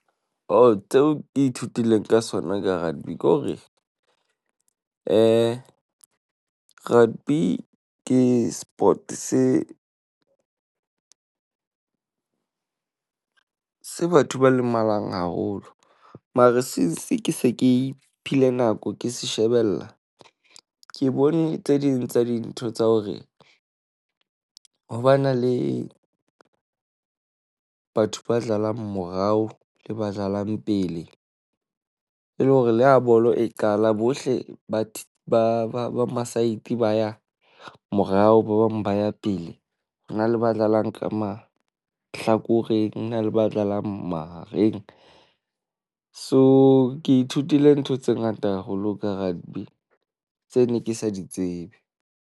Oh, tseo ke ithutileng sona ka rugby ke hore , rugby ke sport se, se batho ba lemalang haholo. Mare since ke se ke iphile nako ke se shebella. Ke bone tse ding tsa dintho tsa hore, ho ba na le batho ba dlalang morao le ba dlalang pele. E le hore le ha bolo e qala bohle ba ba ma-side ba ya morao, ba bang ba ya pele. Ho na le ba dlalang ka mahlakoreng ho na le ba dlalang mahareng. So, ke ithutile ntho tse ngata haholo ka rugby tse ne ke sa di tsebe.